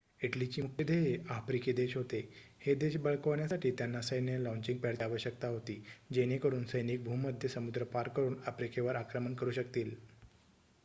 इटलीची मुख्य ध्येये आफ्रिकी देश होते हे देश बळकावण्यासाठी त्यांना सैन्य लॉचिंग पॅडची आवश्यकता होती जेणेकरुन सैनिक भूमध्य समुद्र पार करुन आफ्रिकेवर आक्रमण करु शकतील